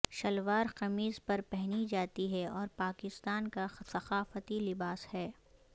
شلوار قمیض پر پہنی جاتی ہے اور پاکستان کا ثقافتی لباس ہے